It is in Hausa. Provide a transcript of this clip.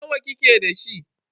Nawa kike da shi?